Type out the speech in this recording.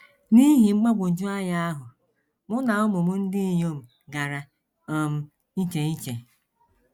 N’ihi mgbagwoju anya ahụ, mụ na ụmụ m ndị inyom gara um iche iche.